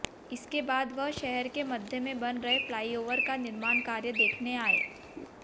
इसके बाद वह शहर के मध्य में बन रहे फ्लाईओवर का निर्माण कार्य देखने आए